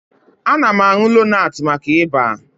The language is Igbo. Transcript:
Ana m aṅụ lonat maka Ịba